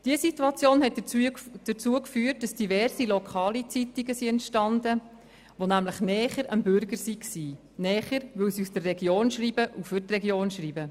Diese Situation führte dazu, dass diverse lokale Zeitungen entstanden, die nun näher am Bürger sind, weil sie aus der Region und für die Region schreiben.